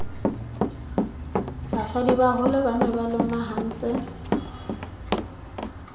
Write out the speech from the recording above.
basadibaholo ba ne ba lomahantse